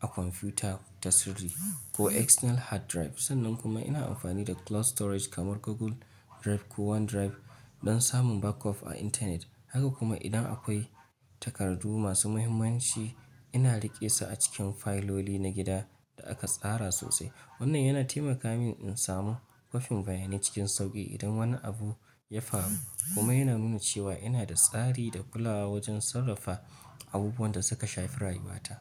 a kwamfuta ta sirri ko external hard drive. Sannan kuma ina amfani da cloud storage kamar Google Drive ko OneDrive don samun back-up a intanet. Haka kuma, idan akwai takardu masu muhimmanci, ina riƙe su a cikin fayloli na gida da aka tsara sosai. Wannan yana taimaka min in samu kwafin bayanai cikin sauƙi idan wani abu ya faru kuma yana nuna cewa ina da tsari da kulawa wajen sarrafa abubuwan da suka shafi rayuwata.